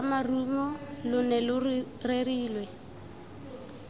ramarumo lo ne lo rerilwe